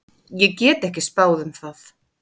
Ég get ekki spáð um það.